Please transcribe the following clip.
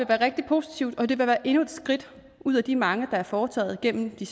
være rigtig positivt og det vil være endnu et skridt ud af de mange der er foretaget gennem de